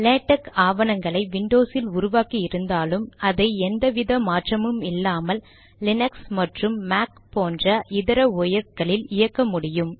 LaTeX ஆவணங்களை விண்டோசில் உருவாக்கி இருந்தாலும் அதை எந்த வித மாற்றமும் இல்லாமல் லினக்ஸ் மற்றும் மாக் போன்ற இதர OSகளில் இயக்க முடியும்